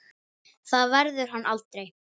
Það verður hann aldrei.